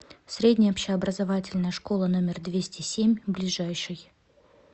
средняя общеобразовательная школа номер двести семь ближайший